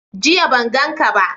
Jiya ban gan ka ba